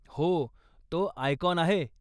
हो, तो आयकाॅन आहे.